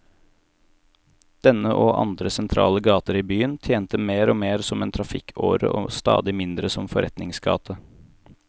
Denne, og andre sentrale gater i byen, tjente mer og mer som en trafikkåre og stadig mindre som forretningsgate.